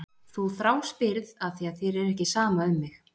Þú þráspyrð af því að þér er ekki sama um mig.